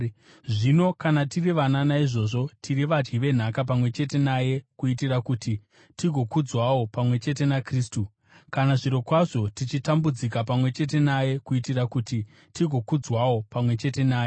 Zvino kana tiri vana, naizvozvo tiri vadyi venhaka pamwe chete naye kuitira kuti tigozokudzwawo pamwe chete naKristu, kana zvirokwazvo tichitambudzika pamwe chete naye kuitira kuti tigozokudzwawo pamwe chete naye.